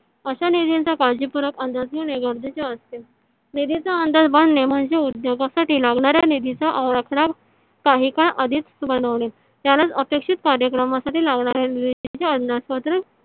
अश्या निधी चा काळजी पूर्वक अंदाज घेणे गरजेचे असते . निधीचा अंदाज बंधने म्हणजे उद्योगासाठी लागणाऱ्या निधीचा आराखडा काहीकाळ आधीच बनवणे त्यालाच अपेक्षित कार्यक्रमासाठी लावणाऱ्या निधीचे अंदाज पत्रक